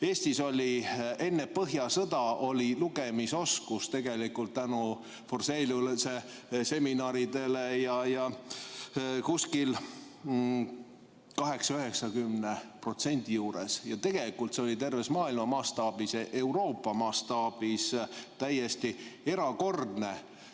Eestis oli enne põhjasõda lugemisoskus tänu Forseliuse seminaridele 80–90% juures ja tegelikult see oli terve maailma mastaabis, Euroopa mastaabis täiesti erakordne.